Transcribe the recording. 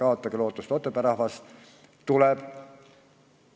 Ärge kaotage lootust, Otepää rahvas!